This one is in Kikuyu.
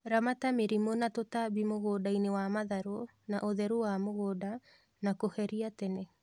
Ramata mĩrimũ na tũtambi mũgundainĩ wa matharũ na ũtheru wa mũgũnda na kũheria tene